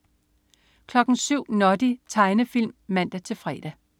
07.00 Noddy. Tegnefilm (man-fre)